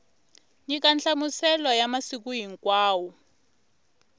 nyika nhlamuselo ya masiku hinkwawo